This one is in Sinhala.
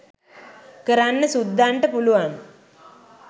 කරන්න සුද්දන්ට පුළුවන්